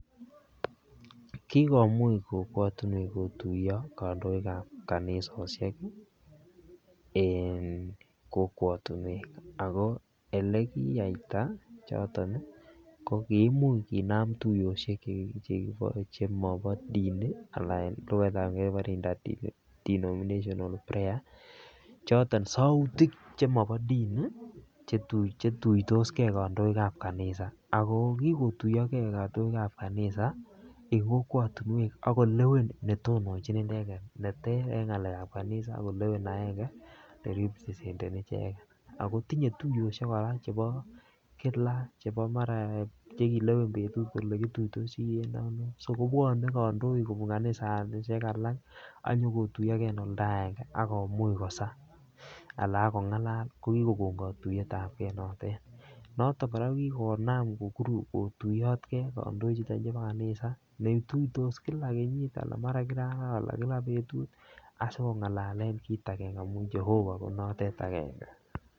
Kikomuch kokwatinwek kotuyo kandoik ab kanisosiek en kokwatinwek ako Ole kiyaita choton kogi kimuch kinam tuiyosiek chemobo dini anan Che kibore interdenominational prayer choton sautik chemobo dini chetuitos ge kandoik ab kanisa ako ki kotuyoge kandoik ab kanisa en kokwatinwek ak kolewen netonjin inendet neter en ngalekab kanisa ak kolewen agenge ne representeni icheget ako tinye tuiyosiek kora chebo kila Che mara Che kilewen betut kole kituitosi en ano so kobwone kandoik kobun kanisosiek alak ak konyon kotuiyo ge en oldo agenge ak komuch kosa anan ak kongalal ko kigokon katuiyet ab ge notet noton kora ko ki konam kotuyot kandoichuto chebo kanisa netuitos kila kenyit anan ko mara kila arawa anan ko kila betut asikongalalen kit agenge amun jehova ko notet agenge